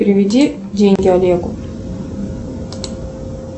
переведи деньги олегу